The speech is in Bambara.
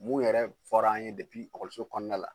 Mun yɛrɛ fɔra an ye ekɔliso kɔnɔna la